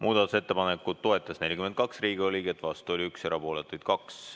Muudatusettepanekut toetas 42 Riigikogu liiget, vastuolijaid oli 1 ja erapooletuid 2.